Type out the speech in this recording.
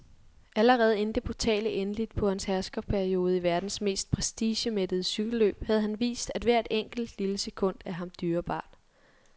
Allerede inden det brutale endeligt på hans herskerperiode i verdens mest prestigemættede cykelløb havde han vist, at hvert enkelt, lille sekund er ham dyrebart.